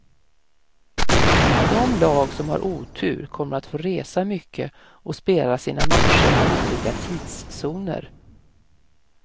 De lag som har otur kommer att få resa mycket och spela sina matcher i olika tidszoner.